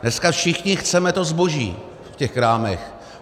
Dneska všichni chceme to zboží v těch krámech.